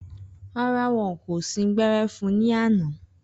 Rárá, wọn kò sín gbẹ́rẹ́ fun ní àná